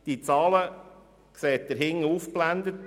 Die Zahlen sehen Sie auf der Präsentation.